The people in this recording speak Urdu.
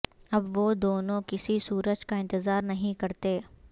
اب وہ دونوں کسی سورج کا انتظار نہیں کرتے